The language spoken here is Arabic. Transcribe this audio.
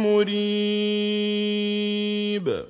مُّرِيبٍ